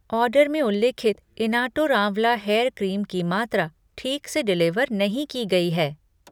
Order में उल्लिखित Inatur amla hair cream की मात्रा ठीक से डिलिवर नहीं की गई है।